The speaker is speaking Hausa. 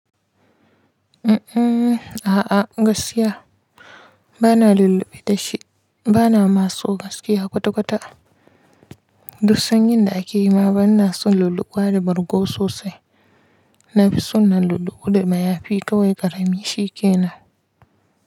A'a, gaskiya bana lulluɓe da shi. Bana maso gaskiya kwata-kwata. Duksan yinda ake yi ma bana son lulluɓuwa da bargo sosai. Na fi son na lulluɓu da mayafi kawai ƙarami shi ke nan.